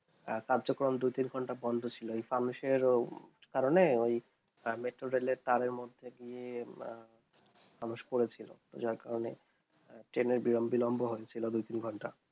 কার্যকারণ দু তিন ঘন্টা বন্ধ ছিল এই ফানুসের কারণ এ metro rail এর তারে মধ্যে গিয়ে ফানুস পরে ছিল তার কারণে train এর বিলম্ব বিলম্ব হয়ে ছিল দুই তিন ঘন্টা